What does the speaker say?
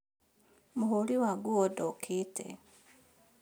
Mũhũri wa nguo ndokĩte